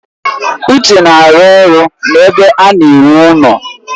Uche na-arụ ọrụ n'ebe a na-ewu ụlọ